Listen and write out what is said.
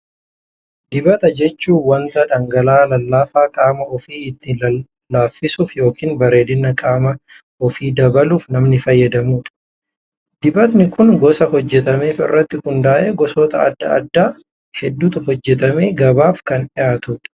Dibata jechuun waanta dhangala'aa lallaafaa qaama ofii ittiin lallaafisuuf yookaan bareedina qaama kan ofii dabaluuf namni fayyadamudha. Dibatni kunis gosa hojjetameef irratti hundaa'ee gosoota addaa addaa hedduutu hojjetamee gabaaf kan dhihaatudha.